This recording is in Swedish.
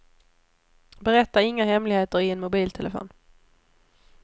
Berätta inga hemligheter i en mobiltelefon.